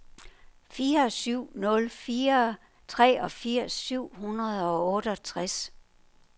fire syv nul fire treogfirs syv hundrede og otteogtres